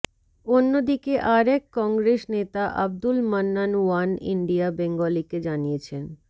অন্যদিকে আর এক কংগ্রেস নেতা আব্দুল মান্নান ওয়ান ইন্ডিয়া বেঙ্গলিকে জানিয়েছেন